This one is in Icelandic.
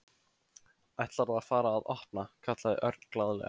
Ætlarðu að fara að opna? kallaði Örn glaðlega.